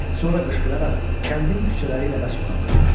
Sonra qışqıraraq kəndin küçələri ilə qaçmağa başladı.